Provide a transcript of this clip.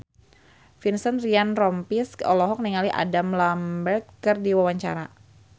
Vincent Ryan Rompies olohok ningali Adam Lambert keur diwawancara